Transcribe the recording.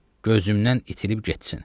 Gözümdən itib getsin.